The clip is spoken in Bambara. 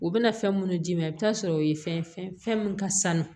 U bɛna fɛn minnu d'i ma i bɛ taa sɔrɔ o ye fɛn fɛn min ka sanu